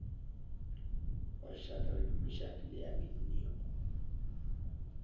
wa shadrack meshack le abednego